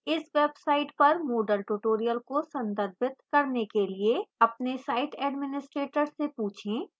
इस website पर moodle tutorials को संदर्भित करने के लिए अपने site administrator से पूछें